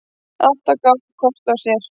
Átta gáfu kost á sér.